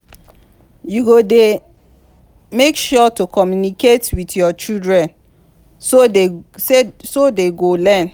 you go dey make sure to communicate with your children so dey go learn